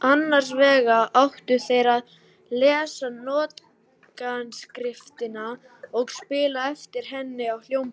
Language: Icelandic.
Annars vegar áttu þeir að lesa nótnaskriftina og spila eftir henni á hljómborð.